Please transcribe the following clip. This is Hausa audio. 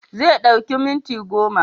Zai ɗauki minti goma